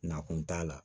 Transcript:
Na kun t'a la